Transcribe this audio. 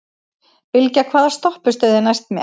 Bylgja, hvaða stoppistöð er næst mér?